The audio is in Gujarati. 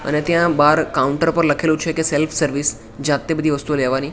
અને ત્યાં બાર કાઉન્ટર પર લખેલુ છે કે સેલ્ફ સર્વિસ જાતે બધુ વસ્તુઓ લેવાની.